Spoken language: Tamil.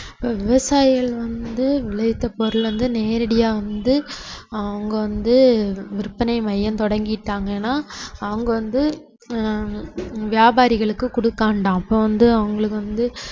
இப்ப விவசாயிகள் வந்து விளைவித்த பொருளை வந்து நேரடியா வந்து அவங்க வந்து விற்பனை மையம் தொடங்கிட்டாங்கன்னா அவங்க வந்து ஹம் வியாபாரிகளுக்கு கொடுக்க வேண்டாம் அப்ப வந்து அவங்களுக்கு வந்து